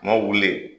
Kuma wuli